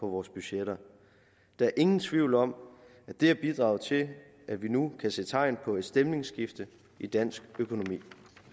vores budgetter der er ingen tvivl om at det har bidraget til at vi nu kan se tegn på et stemningsskifte i dansk økonomi